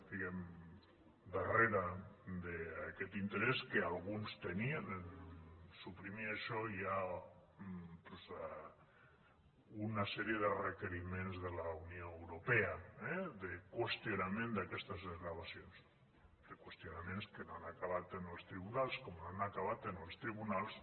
diguemne darrere d’aquest interès que alguns tenien a suprimir això hi ha una sèrie de requeriments de la unió europea eh de qüestionament d’aquestes desgravacions de qüestionaments que no han acabat en els tribunals com no han acabat en els tribunals